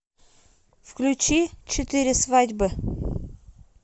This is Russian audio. включи четыре свадьбы